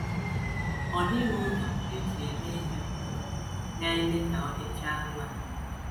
Ọ dịghị ụzọ e ji eme ihe ugbu a na - eme ka ọ dịchaa mma.